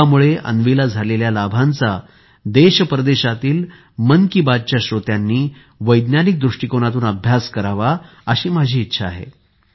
योगमुळे अन्वीला झालेल्या लाभांचा देशपरदेशातील मन कि बात च्या श्रोत्यांनी वैज्ञानिक दृष्टिकोनातून अभ्यास करावा अशी माझी इच्छा आहे